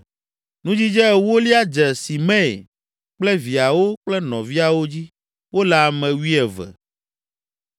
Nudzidze ewolia dze Simei kple viawo kple nɔviawo dzi; wole ame wuieve.